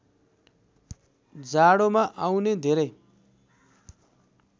जाडोमा आउने धेरै